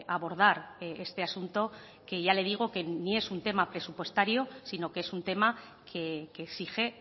abordar este asunto que ya le digo que ni es un tema presupuestario sino que es un tema que exige